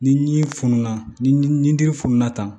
Ni ji fununa ni dimi fununa tan